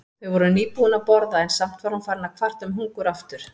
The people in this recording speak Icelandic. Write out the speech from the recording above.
Þau voru nýbúin að borða en samt var hún farin að kvarta um hungur aftur.